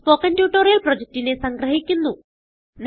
ഇതു spoken tutorial പ്രൊജക്റ്റിനെ സംഗ്രഹിക്കുന്നു